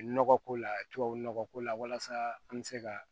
Nɔgɔ ko la tubabu nɔgɔ ko la walasa an bɛ se ka